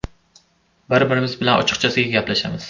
Bir-birimiz bilan ochiqchasiga gaplashamiz.